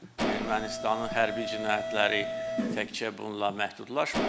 Ermənistanın hərbi cinayətləri təkcə bununla məhdudlaşmır.